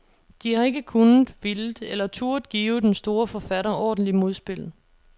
De har ikke kunnet, villet eller turdet give den store forfatter ordentligt modspil.